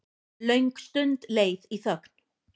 Löng stund leið í þögn.